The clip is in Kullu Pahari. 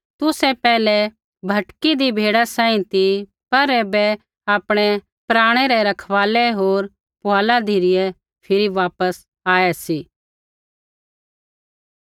तुसै पैहलै भटकीदी भेड़ा सांही ती पर ऐबै आपणै प्राणै रै रखवालै होर फुआला धिरै फिरी वापस आऐ सी